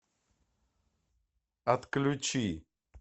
отключи